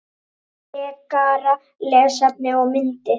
Frekara lesefni og myndir